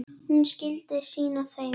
Hún skyldi sýna þeim.